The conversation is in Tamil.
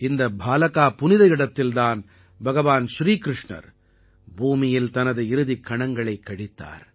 இந்த பாலகா புனித இடத்தில் தான் பகவான் ஸ்ரீகிருஷ்ணர் பூமியில் தனது இறுதிக் கணங்களைக் கழித்தார்